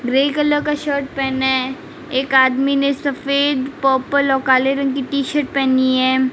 Grey colour का shirt पहने एक आदमी ने सफेद पर्पल और काले रंग की टी शर्ट पहनी है।